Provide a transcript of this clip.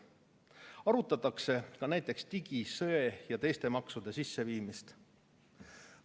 Arutatakse ka näiteks digi-, söe- ja teiste maksude sisseviimist.